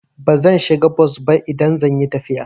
Bazan shiga bos ba idan zan yi tafiya.